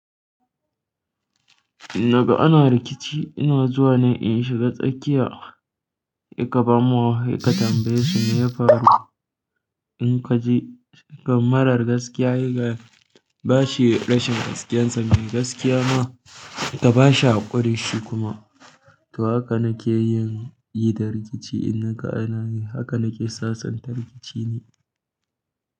Daga ana rikici ina zuwa ne in shiga tsakiya, yi ƙafafan mu, yi ka tambayi su me ya faru. In ka ji gammarar gaskiya, yi ga bashi rashin gaskiyarsa mai gaskiya ma, ka bashi haƙurinshi kuma. To haka na ke yin, yi da rikici in na ƙana yi, haka na ke sasanta rikici ne.